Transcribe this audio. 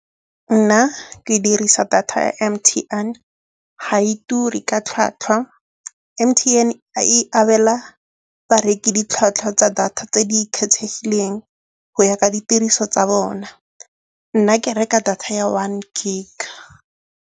Nna ke dirisa data M_T_N ga e ture ka tlhwatlhwa. M_T_N e abela bareki ditlhwatlhwa tsa data tse di kgethegileng go ya ka ditiriso tsa bona. Nna ke reka data ya one gig.